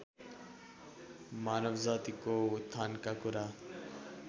मानवजातिको उत्थानका कुरा